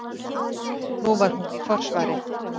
Nú var hún í forsvari.